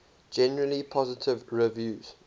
generally positive reviews